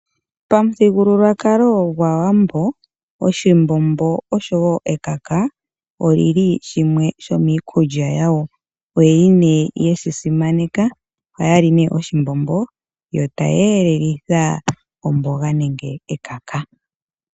Pamuthigulukwakalo gwAawambo, oshimbombo oshowo ekaka oyili shimwe shomiikulya yawo. Oyeli nee yeshi simaneka, ohaya li nee oshimbombo, yo taya elelitha omboga nenge ekaka.